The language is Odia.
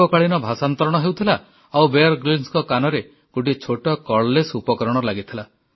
ଏକକାଳୀନ ଭାଷାନ୍ତରଣ ହେଉଥିଲା ଆଉ ବିୟର Gryllsଙ୍କ କାନରେ ଗୋଟିଏ ଛୋଟ କର୍ଡଲେସ୍ ଉପକରଣ ଲାଗିଥିଲା